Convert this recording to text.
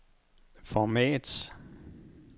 format